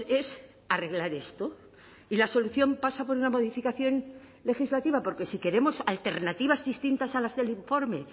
es arreglar esto y la solución pasa por una modificación legislativa porque si queremos alternativas distintas a las del informe